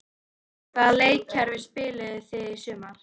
Hvaða leikkerfi spilið þið í sumar?